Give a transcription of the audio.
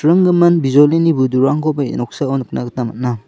ringgimin bijolini budurangkoba ia noksao nikna gita man·a.